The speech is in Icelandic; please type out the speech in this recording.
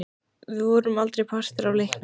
Við vorum aldrei partur af leiknum.